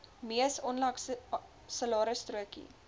mees onlangse salarisstrokie